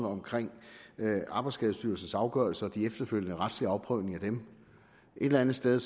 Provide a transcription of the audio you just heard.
omkring arbejdsskadestyrelsens afgørelser og de efterfølgende retslige afprøvninger af dem et eller andet sted